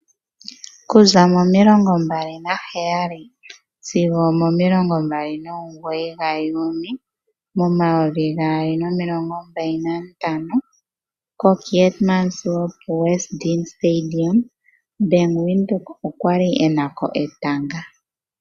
Okuza mo27-29 Juuni 2025 koKeetmanshoop Westdene Stadium Bank Windhoek okwali ena ko etanga.